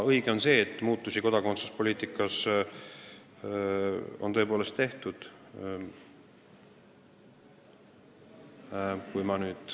Õige on see, et muutusi kodakondsuspoliitikas on tõepoolest tehtud.